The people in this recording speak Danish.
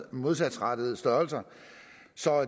modsatrettede størrelser